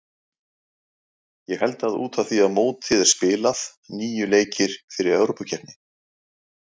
Ég held að út af því að mótið er spilað, níu leikir fyrir Evrópukeppni.